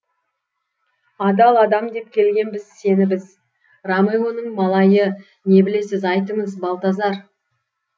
адал адам деп келгенбіз сені біз ромеоның малайы не білесіз айтыңыз балтазар